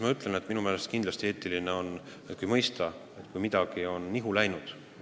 Ma ütlen, et minu meelest on kindlasti eetiline ikkagi mõista, kui midagi on nihu läinud.